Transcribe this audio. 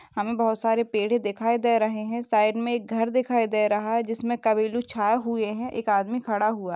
हमें बहुत सारे पेड़ दिखाई दे रहे हैं साइड में एक घर दिखाई दे रहा है जिसमे छाए हुए हैं एक आदमी खड़ा हुआ--